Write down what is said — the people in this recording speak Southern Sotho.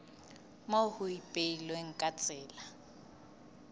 moo ho ipehilweng ka tsela